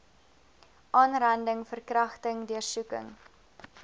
aanranding verkragting deursoeking